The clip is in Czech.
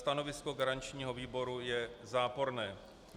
Stanovisko garančního výboru je záporné.